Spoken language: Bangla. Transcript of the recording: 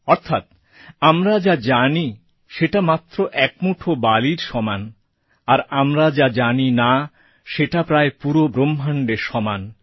অর্থাৎ আমরা যা জানি সেটা মাত্র এক মুঠো বালির সমান আর আমরা যা জানিনা সেটা প্রায় পুরো ব্রহ্মাণ্ডের সমান